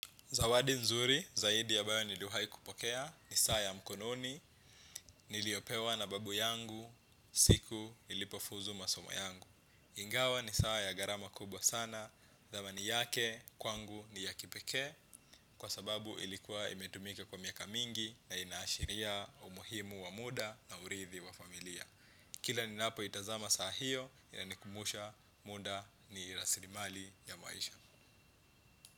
Zawadi nzuri, zaidi ambayo niliwahi kupokea, ni saa ya mkononi, niliyopewa na babu yangu, siku, nilipofuzu masomo yangu. Ingawa ni saa ya gharama kubwa sana, dhamani ni yake, kwangu ni ya kipeke, kwa sababu ilikuwa imetumika kwa miaka mingi na inaashiria umuhimu wa muda na uridhi wa familia. Kila ninapo itazama saa hiyo, inanikumbusha muda ni rasilimali ya maisha.